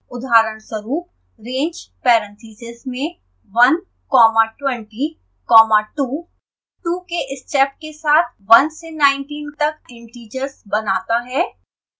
उदाहरणस्वरूप: range parentheses में one comma twenty comma two 2 के स्टेप के साथ 1 से 19 तक इंटिजर्स बनाता है